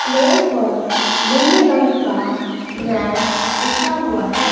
Floor पर नीले रंग का मैट बिछा हुआ है।